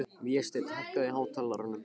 Vésteinn, hækkaðu í hátalaranum.